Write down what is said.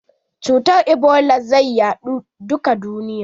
Cutar Ebola zai yaɗu duka duniya.